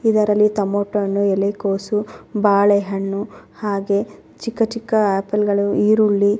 ಇದರಲ್ಲಿ ಟೊಮೆಟೊ ಹಣ್ಣು ಎಲೆ ಕೋಸು ಬಾಳೆಹಣ್ಣು ಹಾಗೆ ಚಿಕ್ಕ ಚಿಕ್ಕ ಆಪಲ್ಗಳು ಈರುಳ್ಳಿ --